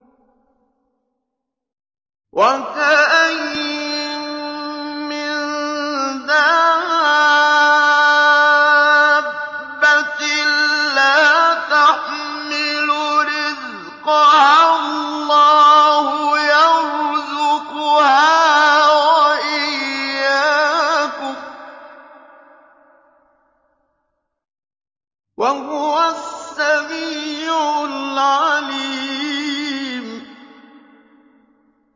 وَكَأَيِّن مِّن دَابَّةٍ لَّا تَحْمِلُ رِزْقَهَا اللَّهُ يَرْزُقُهَا وَإِيَّاكُمْ ۚ وَهُوَ السَّمِيعُ الْعَلِيمُ